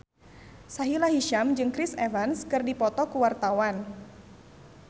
Sahila Hisyam jeung Chris Evans keur dipoto ku wartawan